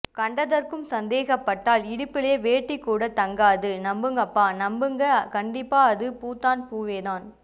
கண்டதற்கும் சந்தேகபட்டால் இடுப்பிலே வேட்டி கூட தங்காது நம்புங்கப்பா நம்புங்க கண்டிப்பா அது பூதான் பூவேதான்